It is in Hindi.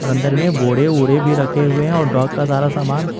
अंदर में बोडे़ ओडे़ भी रखे हुए हैं और डॉग का सारा सामान।